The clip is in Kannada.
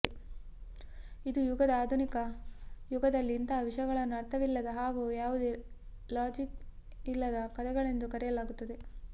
ಇಂದು ಯುಗದ ಆಧುನಿಕ ಯುಗದಲ್ಲಿ ಇಂತಹ ವಿಷಯಗಳನ್ನು ಅರ್ಥವಿಲ್ಲದ ಹಾಗೂ ಯಾವುದೇ ಲಾಜಿಕ್ ಇಲ್ಲದ ಕಥೆಗಳೆಂದು ಕರೆಯಲಾಗುತ್ತದೆ